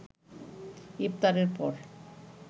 ইফতারের পর